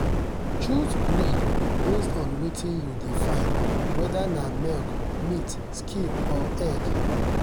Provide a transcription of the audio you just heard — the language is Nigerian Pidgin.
choose breed based on wetin you dey find—whether na milk meat skin or egg.